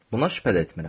Buna şübhə də etmirəm.